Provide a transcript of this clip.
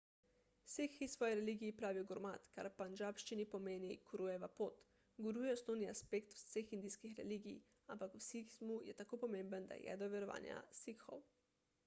sikhi svoji religiji pravijo gurmat kar pandžabščini pomeni gurujeva pot guru je osnovni aspekt vseh indijskih religij ampak v sikhizmu je tako pomemben da je jedro verovanja sikhov